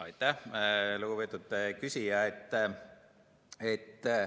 Aitäh, lugupeetud küsija!